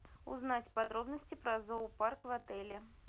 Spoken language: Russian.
узнать подробности про зоопарк в отеле